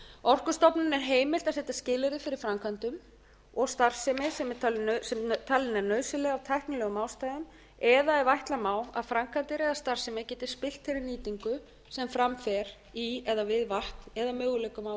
orkustofnun er heimilt að setja skilyrði fyrir framkvæmdum og starfsemi sem talin er nauðsynleg af tæknilegum ástæðum eða ef ætla má að framkvæmdir eða starfsemi geti spillt fyrir nýtingu sem fram fer í eða við vatn eða möguleikum á